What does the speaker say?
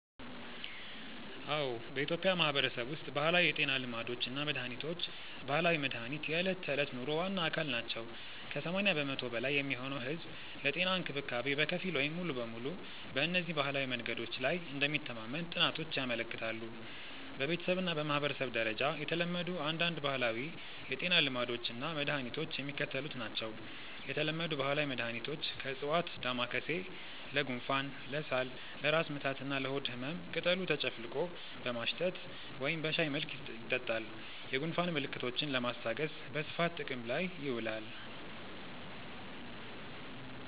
አዎ፣ በኢትዮጵያ ማህበረሰብ ውስጥ ባህላዊ የጤና ልማዶች እና መድሃኒቶች (ባህላዊ መድሃኒት) የዕለት ተዕለት ኑሮ ዋና አካል ናቸው። ከ80% በላይ የሚሆነው ህዝብ ለጤና እንክብካቤ በከፊል ወይም ሙሉ በሙሉ በእነዚህ ባህላዊ መንገዶች ላይ እንደሚተማመን ጥናቶች ያመለክታሉ። በቤተሰብ እና በማህበረሰብ ደረጃ የተለመዱ አንዳንድ ባህላዊ የጤና ልማዶች እና መድኃኒቶች የሚከተሉት ናቸው የተለመዱ ባህላዊ መድኃኒቶች (ከዕፅዋት) ደማካሴ (Ocimum lamiifolium): ለጉንፋን፣ ለሳል፣ ለራስ ምታት እና ለሆድ ህመም ቅጠሉ ተጨፍልቆ በማሽተት ወይም በሻይ መልክ ይጠጣል። የጉንፋን ምልክቶችን ለማስታገስ በስፋት ጥቅም ላይ ይውላል።